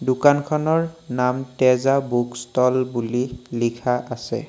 দোকানখনৰ নাম Teja book stall বুলি লিখা আছে।